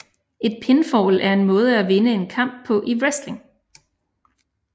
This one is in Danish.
Et pinfall er en måde at vinde en kamp på i wrestling